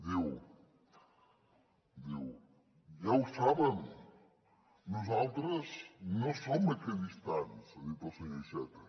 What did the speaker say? diu ja ho saben nosaltres no som equidistants ha dit el senyor iceta